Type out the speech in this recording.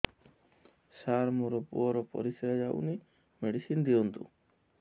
ସାର ମୋର ପୁଅର ପରିସ୍ରା ଯାଉନି ମେଡିସିନ ଦିଅନ୍ତୁ